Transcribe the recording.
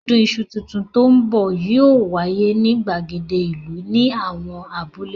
Ọdún iṣu tuntun tó ní bọ̀ yóò wáyé ní ìgbàgede ìlú ní àwọn abúlé.